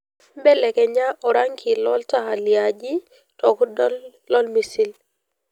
belelekenya orangi lo ntaa liaji tokudol lormisil